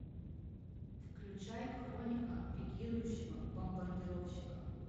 включай хроника пикирующего бомбардировщика